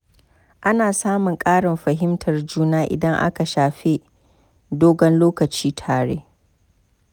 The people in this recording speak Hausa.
Ana samun ƙarin fahimtar juna idan an shafe dogon lokaci tare.